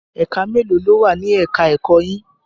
Ẹ̀ka mélòó ló wà ni ẹ̀ka ẹ̀kọ́ yín?